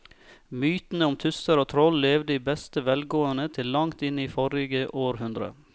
Mytene om tusser og troll levde i beste velgående til langt inn i forrige århundre.